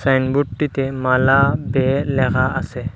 সাইনবোর্ডটিতে মালা বে লেখা আছে।